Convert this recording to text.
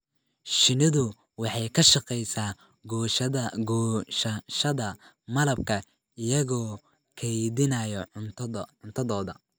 Shinnidu waxay ka shaqeysaa goosashada malabka iyagoo kaydinaya cuntadooda.